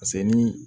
ni